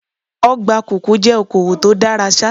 Ọgbà kòkó jẹ́ okowò tó dára ṣá.